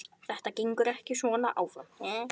Þetta gengur ekki svona áfram.